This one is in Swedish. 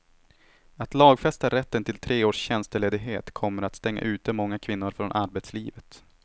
Att lagfästa rätten till tre års tjänstledighet kommer att stänga ute många kvinnor från arbetslivet.